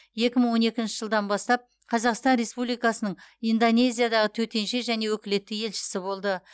екі мың он екінші жылдан бастап қазақстан республикасының индонезиядағы төтенше және өкілетті елшісі болды